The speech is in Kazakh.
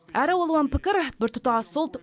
әр алуан пікір біртұтас ұлт